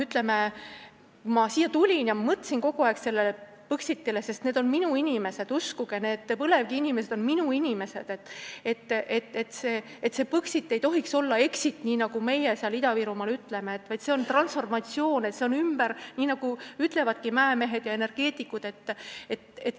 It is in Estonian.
Kui ma siia tulin, siis ma mõtlesin kogu aeg Põxitile, sest need on minu inimesed, uskuge, need põlevkiviinimesed on minu inimesed, ja Põxit ei tohiks olla exit, nagu meie Ida-Virumaal ütleme, vaid see peab olema transformatsioon, nagu ütlevad mäemehed ja energeetikud.